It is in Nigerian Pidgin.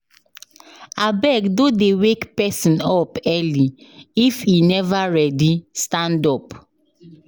Abeg no dey wake pesin up early if e never ready stand up.